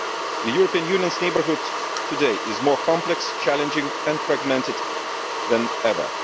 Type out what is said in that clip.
The European Union's neighbourhood today is more complex, challenging and fragmented than ever.